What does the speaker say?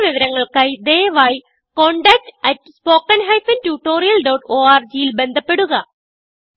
കുടുതൽ വിവരങ്ങൾക്കായി ദയവായിcontactspoken tutorialorg ൽ ബന്ധപ്പെടുക